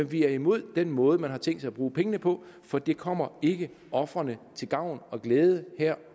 vi er imod den måde man har tænkt sig at bruge pengene på for det kommer ikke ofrene til gavn og glæde her